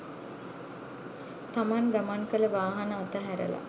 තමන් ගමන් කළ වාහන අතහැරලා